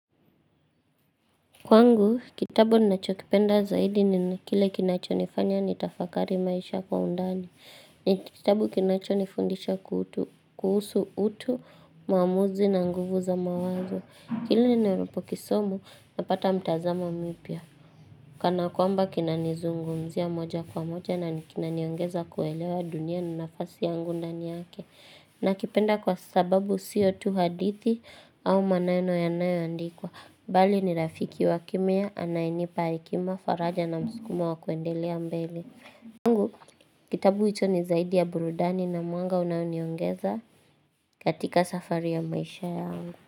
Kwangu, kitabu ninacho kipenda zaidi ni kile kinacho nifanya ni tafakari maisha kwa undani. Ni kitabu kinacho nifundisha kutu kuhusu utu, mwamuzi na nguvu za mawazo. Kile ninavyopo kisomo, napata mtazamo mipya. Kana kwamba kinani zungumzia moja kwa moja na kinaniongeza kuelewa dunia ni nafasi yangu ndani yake. Nakipenda kwa sababu sio tu hadithi au maneno yanayo andikwa. Mbali ni rafiki wakimya anayenipa hekima faraja na muskumo wa kuendelea mbele kwangu kitabu hicho ni zaidi ya burudani na mwanga unaoniongeza katika safari ya maisha yangu.